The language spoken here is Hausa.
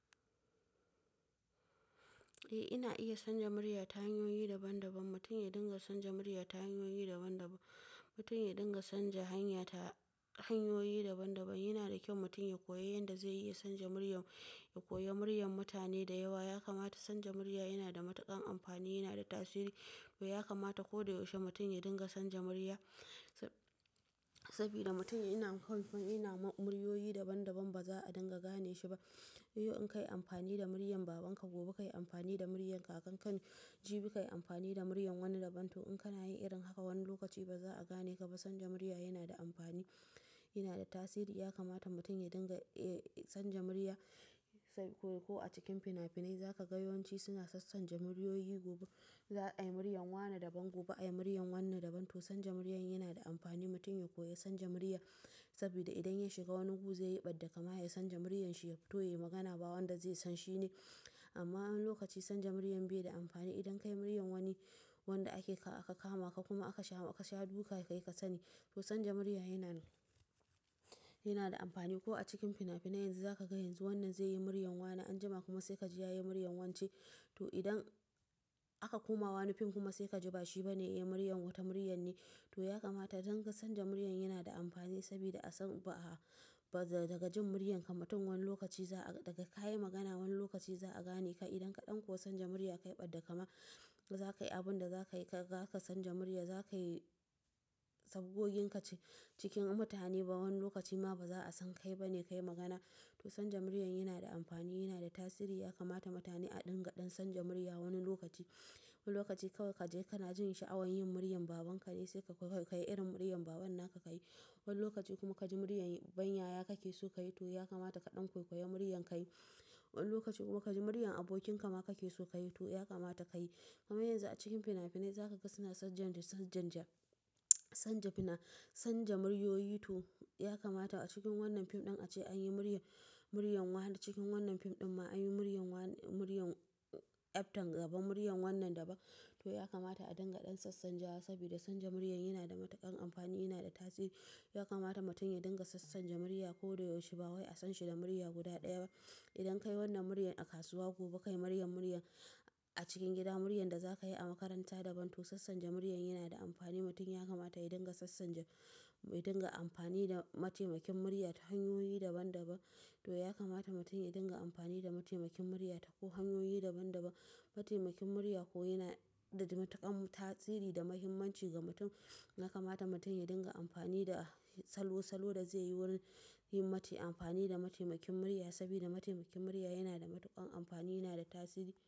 Eh ina iya sanja murya ta hanyoyi daban daban. Mutum ya dinga sanja murya ta hanyoyi daban daban. Mutum ya dinga sanja hanya ta hanyoyi daban daban. Yana da kyau mutum ya koya yadda zai iya sanja murya, ya koya muryar mutane da yawa. Ya kamata sanja murya yana da matuƙan amfani, yana da tasiri. To ya kamata ko da yaushe mutum ya dinga sanja murya sabida mutum yana, yana muryoyi daban daban ba za a dinga gane shi ba. Yau in kai amfani da muryar babanka, gobe ka yi amfani da muryar kakanka. Jibi ka yi amfani da muryar wani daban. To in kana yin irin haka wani lokaci ba za a gane ka ba. Sanja murya yana da amfani, yana da tasiri. Ya kamata mutum ya dinga, eh, sanja murya. Sabida ko a cikin finafinai za ka ga yawanci suna sassanja muryoyi. Gobe za a yi muryar wane daban, gobe a yi muryar wanne daban. To sanja murya yana da amfani. Mutum ya koya sanja murya sabida idan ya shiga wani gu zaye ɓad da kama ya sanja muryar shi, yafito yaye magana. Ba wanda zai san shi ne. Amma wani lokaci sanja murya bai da amfani. Idan ka yi muryar wani wanda ake, aka kama ka kuma aka sha, aka sha duka ka yi kasani. To sanja murya yana, yana da amfani. Ko a cikin finafinai yanzu za ka ga yanzu wannan zai yi muryar wane, anjima kuma sai ka ji ya yi muryar wance. To idan aka koma wani fim kuma sai ka ji ba shi ba ne ya yi muryar, wata muryar ne. To ya kamata dan ka sanja murya yana da amfani sabida a san ba a, ba daga jin muryar ka. Mutum wani lokaci za a, daga ka yi magana wani lokaci za a gane ka. Idan ka ɗan kosa sanja murya ka yiɓad da kama, za ka yi abin da za ka yi, ka gaka sanja murya za ka yi saboggin ka cikin mutane. Ba wani lokaci ma ba za a san kai ba ne ka yi magana. To sanja murya yana da amfani, yana da tasiri. Ya kamata mutane a dingaɗan sanja murya wani lokaci. Wani lokaci kawai ka je kana jin sha'awan yin muryar babanka ne sai ka koyi, ka yi irin muryar baban naka ka yi. Wani lokaci kuma ka ji muryar ɓanyaya kake so ka yi. To ya kamata ka ɗan koyekoye muryar ka yi. Wani lokaci kuma ka ji muryar abokin ka ma kake so ka yi. To ya kamata ka yi. Kamar yanzu a cikin finafinai za ka ga suna sanja, sanja, sanja fina, sanja muryoyi. To ya kamata a cikin wannan fim ɗin ace an yi muryar, muryar waɗanda cikin wannan fim ɗin ma an yi muryar wa, muryar yafto gaba muryar wannan daban. To ya kamata a dingaɗan sassanjawa sabida sanja murya yana da matuƙan amfani, yana da tasiri. Ya kamata mutum ya dinga sassanja murya ko da yaushe. Ba wai a san shi da murya guda ɗaya ba. Idan ka yi wannan muryar a kasuwa, gobe ka yi muryar, muryar a cikin gida, muryar da za ka yi a makaranta daban. To sassanja muryar yana da amfani. Mutum ya kamata ya dinga sassanja, ya dinga amfani da mataimakin murya ta hanyoyi daban daban. To yakamata mutum ya dinga amfani da mataimakin murya ta ko wanne hanyoyi daban daban. Mataimakin murya koyo yana da matuƙan tasiri da muhimmanci ga mutum. Ya kamata mutum ya dinga amfani da salo, salo da zai yi wurin yin mati amfani da mataimakin murya sabida mataimakin murya yana da matuƙan amfani, yana da tasiri.